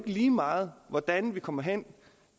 lige meget hvordan vi kommer hen